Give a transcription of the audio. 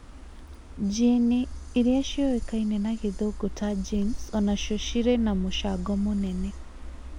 njini, iria ciũkaine na gĩthũngũ ta genes onacio cirĩ na mũcango mũnene